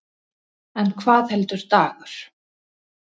En hvað heldur Dagur?